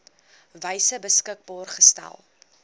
wyse beskikbaar gestel